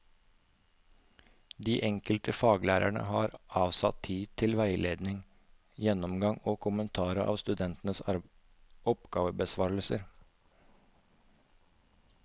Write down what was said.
De enkelte faglærerne har avsatt tid til veiledning, gjennomgang og kommentar av studentenes oppgavebesvarelser.